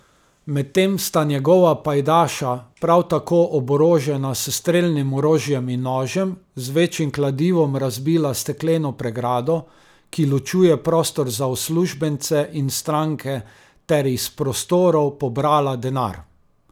Medtem sta njegova pajdaša, prav tako oborožena s strelnim orožjem in nožem, z večjim kladivom razbila stekleno pregrado, ki ločuje prostor za uslužbence in stranke, ter iz prostorov pobrala denar.